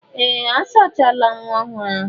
Ee! A sachala nwa ọhụrụ ahụ.